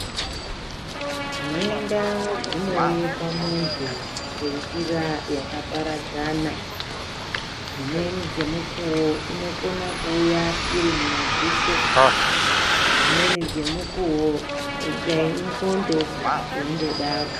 Nhenda dzinouya pamuntu nenjira yakapadzana dzimweni dzemukuwo inokona kuuya mumadziso dzimweni dzemukuwo dai indxondo kana dzeingodaro.